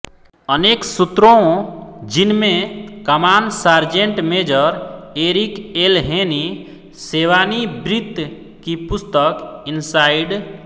अनेक सूत्रों जिनमें कमान sergeant major Eric L Haney सेवानिवृत्त की पुस्तक इनसाइड